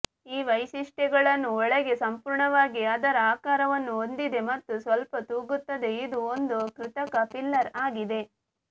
ಈ ವೈಶಿಷ್ಟ್ಯಗಳನ್ನು ಒಳಗೆ ಸಂಪೂರ್ಣವಾಗಿ ಅದರ ಆಕಾರವನ್ನು ಹೊಂದಿದೆ ಮತ್ತು ಸ್ವಲ್ಪ ತೂಗುತ್ತದೆ ಇದು ಒಂದು ಕೃತಕ ಫಿಲ್ಲರ್ ಆಗಿದೆ